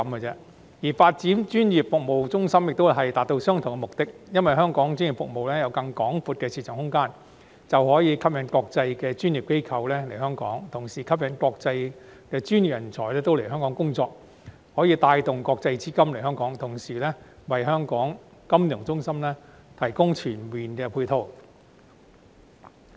至於發展成為專業服務中心，亦是為了達到相同目的，因為只要香港專業服務有更廣闊的市場空間，便可吸引國際專業機構來港，同時吸引國際專業人才來港工作，並可帶動國際資金來港，為金融中心提供全面的配套。